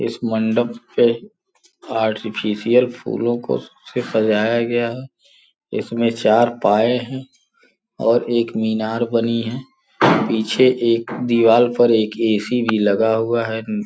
इस मंडप पे आर्टिफिशियल फूलों को से सजाया गया है इसमें चार पाए हैं और एक मीनार बनी है पीछे एक दीवाल पर एक ए_सी भी लगा हुआ है।